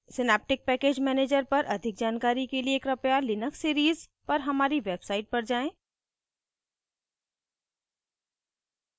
synaptic package manager पर अधिक जानकारी के लिए कृपया लिनक्स सीरीज़ पर हमारी वेबसाइट पर जाएँ